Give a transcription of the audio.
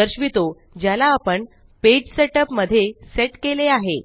दर्शवितो ज्याला आपण पेज सेटअप मध्ये सेट केले आहे